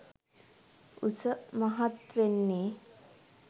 උස මහත් වෙන්නේ